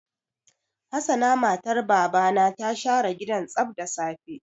Hassana matar Baba na ta share gidan tsaf da safe.